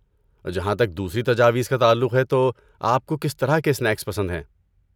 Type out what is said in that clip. جہاں تک دوسری تجاویز کا تعلق ہے تو، آپ کو کس طرح کے سنیکس پسند ہیں؟